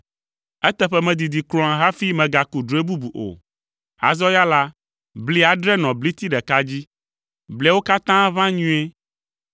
“Eteƒe medidi kura hafi megaku drɔ̃e bubu o. Azɔ ya la, bli adre nɔ bliti ɖeka dzi; bliawo katã ʋã nyuie.